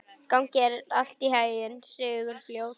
Gangi þér allt í haginn, Sigurfljóð.